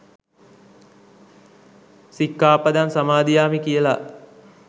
සික්කාපදං සමාදියාමි කියල.